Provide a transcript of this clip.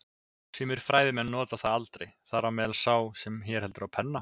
Sumir fræðimenn nota það aldrei, þar á meðal sá sem hér heldur á penna.